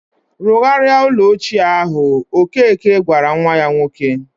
"Rụgharia ụlọ ochie ahụ," ọkeke gwara nwa ya nwoke.